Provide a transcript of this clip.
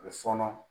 U fɔɔnɔ